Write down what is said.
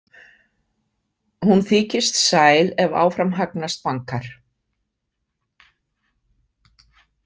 Hún þykist sæl ef áfram hagnast bankar.